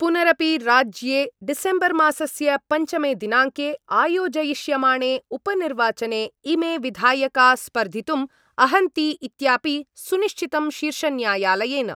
पुनरपि राज्ये डिसेम्बर्मासस्य पञ्चमे दिनाङ्के आयोजयिष्यमाणे उपनिर्वाचने इमे विधायका स्पर्धितुम् अहन्ति इत्यापि सुनिश्चितम् शीर्षन्यायालयेन।